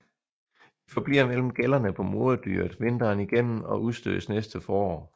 De forbliver mellem gællerne på moderdyret vinteren igennem og udstødes næste forår